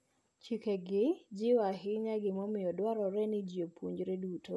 Chikegi jiwo ahinya gimomiyo dwarore ni ji opuonjre duto.